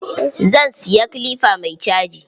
Zan siya kilifa mai caji.